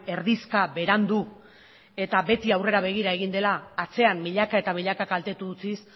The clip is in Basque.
erdizka berandu eta beti aurrera begira egin dela atzean milaka eta milaka kaltetu utziz